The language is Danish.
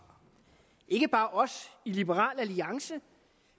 ikke bare os i liberal alliance